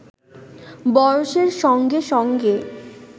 বয়সের সঙ্গে সঙ্গে